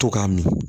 To k'a min